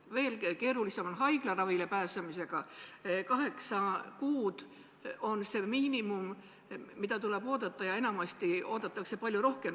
Veel keerulisem on haiglaravile pääseda: kaheksa kuud on miinimum, mis tuleb oodata, enamasti oodatakse palju rohkem.